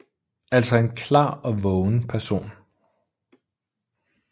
Altså en klar og vågen person